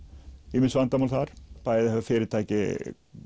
ýmis vandamál þar bæði hafa fyrirtæki